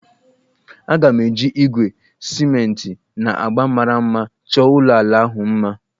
Aga m eji igwe, simenti, na agba mara mma chọọ ụlọ ala ahụ mma